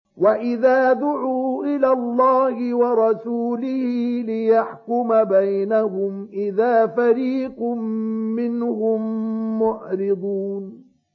وَإِذَا دُعُوا إِلَى اللَّهِ وَرَسُولِهِ لِيَحْكُمَ بَيْنَهُمْ إِذَا فَرِيقٌ مِّنْهُم مُّعْرِضُونَ